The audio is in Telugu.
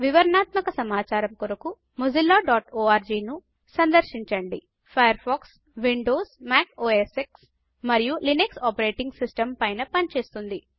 వివరణాత్మక సమాచారం కొరకు mozillaఆర్గ్ ను సందర్శించండి Firefox Windows Mac OS X మరియు లినక్స్ ఆపరేటింగ్ సిస్టమ్స్ పైన పనిచేస్తుంది